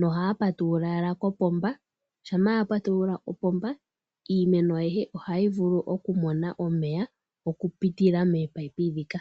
nohaya patulula owala kopomba uuna apa tulula opomba iimeno ayihe ohayi vulu okumona omeya okupitila mominino ndhika.